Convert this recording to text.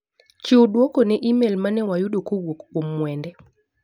Chiw duoko ne imel mane wayudo kowuok kuom Mwende.